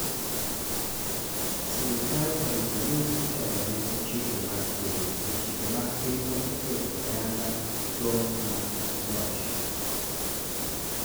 sirikal oripo ni itelo ne gi chike mag piny, to chike mag pinywa oketo ayanga tong' mag loch